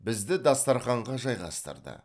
бізді дастарханға жайғастырды